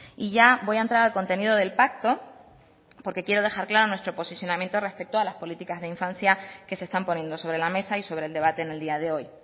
y ya voy a entrar al contenido del pacto porque quiero dejar claro nuestro posicionamiento respecto a las políticas de infancia que se están poniendo sobre la mesa y sobre el debate en el día de hoy